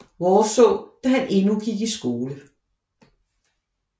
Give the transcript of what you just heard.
Worsaae da han endnu gik i skole